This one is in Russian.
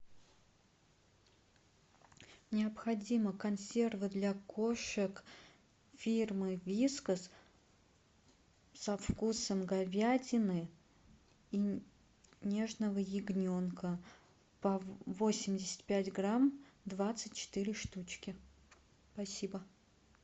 необходимо консервы для кошек фирмы вискас со вкусом говядины и нежного ягненка по восемьдесят пять грамм двадцать четыре штучки спасибо